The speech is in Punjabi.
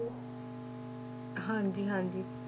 ਹਾਂਜੀ ਹਾਂਜੀ।